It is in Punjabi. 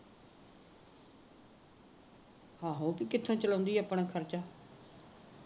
ਆਹੋ ਕਿਥੋ ਚਲਾਉਦੀ ਹੈ ਆਪਣਾ ਖਰਚਾ